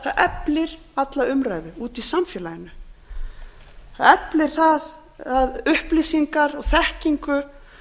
eflir alla umræðu úti í samfélaginu það eflir það að